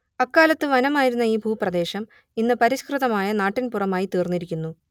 അക്കാലത്ത് വനമായിരുന്ന ഈ ഭൂപ്രദേശം ഇന്ന് പരിഷ്കൃതമായ നാട്ടിൻപുറമായിത്തീർന്നിരിക്കുന്നു